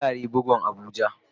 Farare bugun abuja.